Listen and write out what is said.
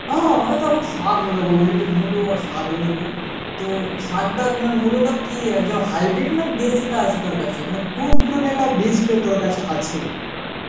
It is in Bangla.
হ্যাঁ, আমি তো এখন শাগ নেবো বুঝলি মুলো শাগ নেব তো শাগ টাগ মানে মুলোটা কি এইজো highbred না দেশী টা আছে তোর কাছে মানে বীজ টো তোর কাছে আছে?